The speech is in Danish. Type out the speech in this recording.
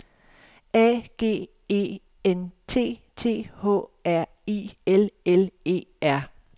A G E N T T H R I L L E R